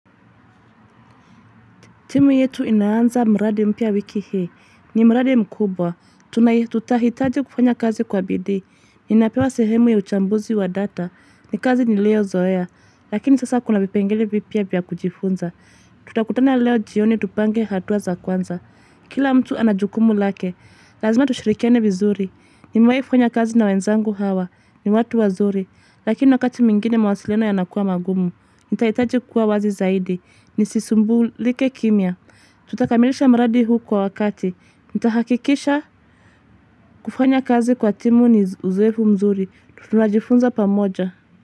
Timu yetu inaanza mraadi mpya wiki hii ni mraadi mkubwa. Tuna tutahitaji kufanya kazi kwa bidii. Ninapewa sehemu ya uchambuzi wa data. Ni kazi ni liyo zoea. Lakini sasa kuna vipengele vipya vya kujifunza. Tutakutana leo jioni tupange hatua za kwanza. Kila mtu anajukumu lake. Lazima tushirikiane vizuri. Nimewai kufanya kazi na wenzangu hawa. Ni watu wazuri. Lakini wakati mingine mawasiliano yanakuwa magumu. Nitahitaji kuwa wazi zaidi. Nisisumbulike kimya. Tutakamilisha mradi huu kwa wakati. Nitahakikisha kufanya kazi kwa timu ni uzoefu mzuri. Tunajifunza pa moja.